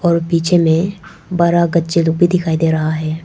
और पीछे में बड़ा गच्चे लोग भी दिखाई दे रहा है।